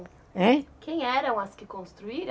Heim? Quem eram as que construíram?